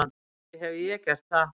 Ekki hefi ég gert það.